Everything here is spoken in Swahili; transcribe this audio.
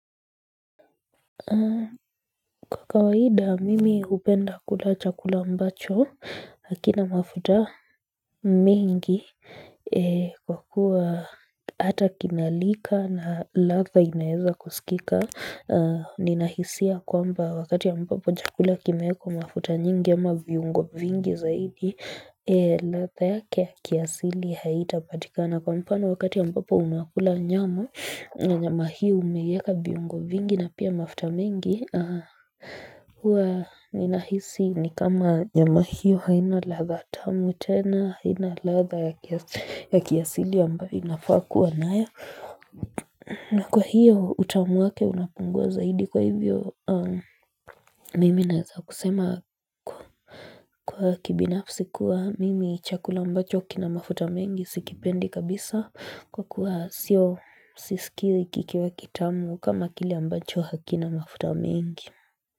Kwa kawaida, mimi hupenda kula chakula ambacho, hakina mafuta mingi, kwa kuwa hata kinalika na ladha inaeza kusikika. Ninahisia kwamba wakati ambapo chakula kimewekwa mafuta nyingi ama viungo vingi zaidi, ladha yake ya kiasili haitapatikana. Na kwa mfano wakati ambapo unakula nyama, na nyama hiyo umeiweka viungo vingi na pia mafuta mengi huwa ninahisi ni kama nyama hiyo haina ladha tamu tena, haina ladha ya kiasili ambayo inafaa kuwa nayo na kwa hiyo utamu wake unapungua zaidi, kwa hivyo mimi naweza kusema, kwa kibinafsi kuwa mimi chakula ambacho kina mafuta mengi sikipendi kabisa, kwa kuwa sio sisikii kikiwa kitamu kama kile ambacho hakina mafuta mingi.